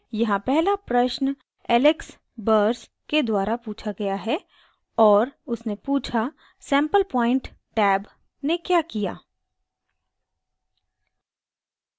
यहाँ पहला प्रश्न alex burs alex burs के द्वारा पूछा गया है और उसने पूछा: sample point टैब ने the किया